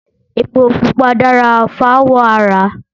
Ẹpo pupa dára fáwọ̀ ara